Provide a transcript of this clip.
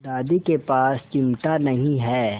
दादी के पास चिमटा नहीं है